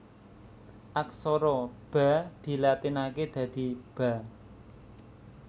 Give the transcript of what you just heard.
Aksara Ba dilatinaké dadi Ba